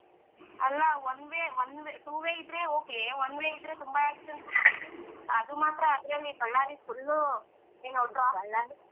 ಅಲ್ಲಾ one way one two way ಇದ್ರೆ okay one way ಇದ್ರೆ ತುಂಬಾ accident ಗಳು ಅದು ಮಾತ್ರ ಅದ್ರಲ್ಲಿ ಬಳ್ಳಾರಿ full ಏನು tra ,